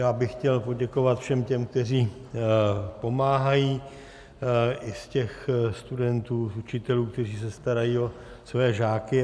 Já bych chtěl poděkovat všem těm, kteří pomáhají, i z těch studentů, učitelů, kteří se starají o své žáky.